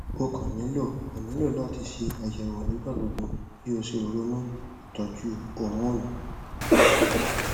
o kan nilo kan nilo lati ṣe ayẹwo nigbagbogbo ki o si ronu itọju homonu